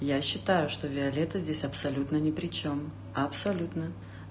я считаю что виолетта здесь абсолютно ни при чем абсолютно